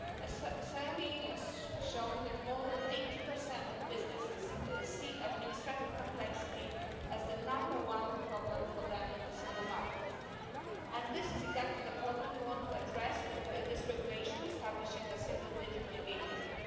A survey has shown that more than 80 of businesses see administrative complexity as the number one problem for them in the single market, and this is exactly the problem we want to address with this regulation establishing a single digital gateway.